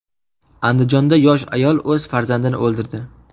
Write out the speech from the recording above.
Andijonda yosh ayol o‘z farzandini o‘ldirdi.